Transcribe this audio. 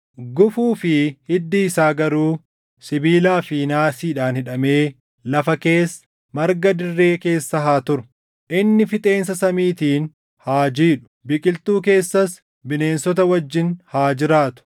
Gufuu fi hiddi isaa garuu sibiilaa fi naasiidhaan hidhamee lafa keessa, marga dirree keessa haa turu. “ ‘Inni fixeensa samiitiin haa jiidhu; biqiltuu keessas bineensota wajjin haa jiraatu.